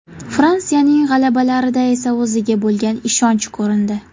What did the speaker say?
Fransiyaning g‘alabalarida esa o‘ziga bo‘lgan ishonch ko‘rindi.